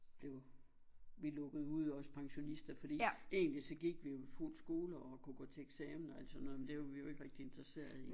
Blev vi lukket ude os pensionister fordi egentlig så gik vi jo i fuld skole og kunne gå til eksamener og alt sådan noget men det var vi jo ikke rigtig interesserede i